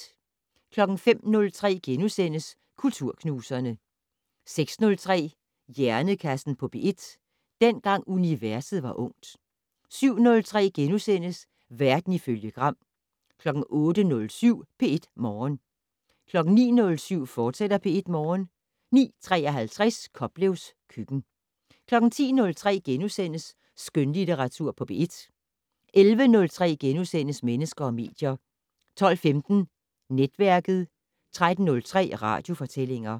05:03: Kulturknuserne * 06:03: Hjernekassen på P1: Dengang universet var ungt 07:03: Verden ifølge Gram * 08:07: P1 Morgen 09:07: P1 Morgen, fortsat 09:53: Koplevs køkken 10:03: Skønlitteratur på P1 * 11:03: Mennesker og medier * 12:15: Netværket 13:03: Radiofortællinger